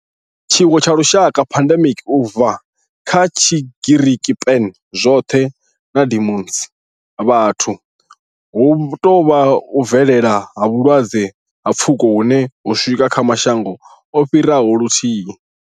Tshiwo tsha lushaka pandemic, u bva kha Tshigiriki pan, zwothe na demos, vhathu hu tou vha u bvelela ha vhulwadze ha pfuko hune ho swika kha mashango o fhiraho luthihi.